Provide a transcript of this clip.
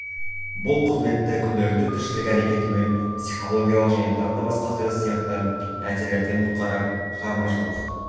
бұл қызметті күнделікті тіршілік әрекеті мен психологиялық және тағы да басқа стресс сияқты нәрселерден құтқарып шығармашылық